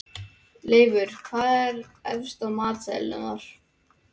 Leifur, hvað er efst á matseðlinum þar?